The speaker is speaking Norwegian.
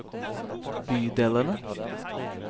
bydelene